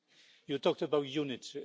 You talked about unity